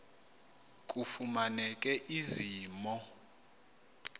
kufumaneke ezi mo